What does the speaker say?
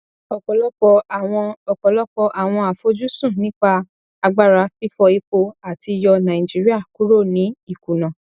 ọpọlọpọ àwọn ọpọlọpọ àwọn àfojúsùn nípa agbára fífọ epo àti yọ naijiria kúrò ní ìkuna